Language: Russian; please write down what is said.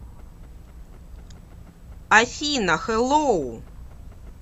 афина хэлоу